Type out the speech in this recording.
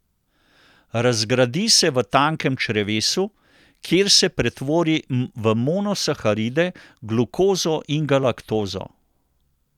Razgradi se v tankem črevesu, kjer se pretvori v monosaharide, glukozo in galaktozo.